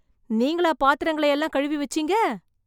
நீங்களா பாத்திரங்கள எல்லாம் கழுவி வெச்சீங்க...